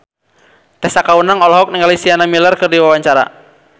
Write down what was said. Tessa Kaunang olohok ningali Sienna Miller keur diwawancara